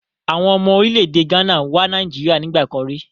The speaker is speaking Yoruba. Àwọn ọmọ orílẹ̀-èdè Ghana wá Nàìjíríà nígbà kan rí.